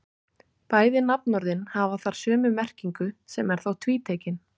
Bæði nafnorðin hafa þar sömu merkingu sem er þá tvítekin.